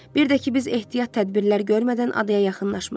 Bir də ki, biz ehtiyat tədbirlər görmədən adaya yaxınlaşmırıq.